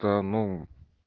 та ну